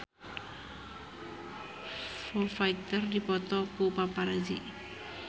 Foo Fighter dipoto ku paparazi